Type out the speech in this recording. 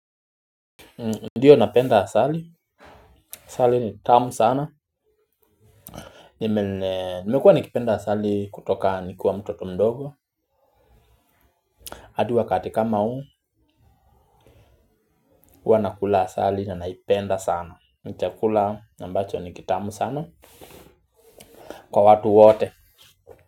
Ndiyo napenda asali, asali ni tamu sana. Nimekuwa nikipenda asali kutoka nikiwa mtoto mdogo hadi wakati kama uu, hua nakula asali na naipenda sana. Ni chakula na ambacho ni kitamu sana kwa watu wote.